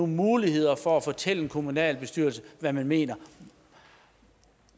muligheder for at fortælle en kommunalbestyrelse hvad man mener